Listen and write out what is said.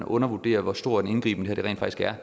undervurderer hvor stor en indgriben